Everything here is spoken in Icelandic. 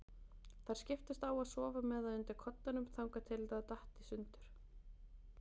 Þær skiptust á að sofa með það undir koddanum þangað til það datt í sundur.